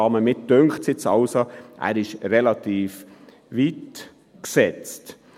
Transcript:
Ich bin der Ansicht, er sei relativ weit gesetzt.